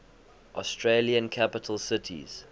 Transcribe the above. australian capital cities